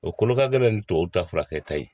O kolo ka gɛlɛn ni tubabuw ta furakɛta ye